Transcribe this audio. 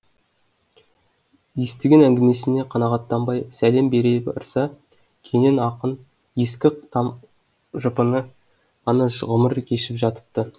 естіген әңгімесіне қанағаттанбай сәлем бере барса кенен ақын ескі там жұпыны ғана ғұмыр кешіп жатыпты